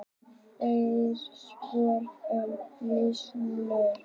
Fleiri svör um risaeðlur: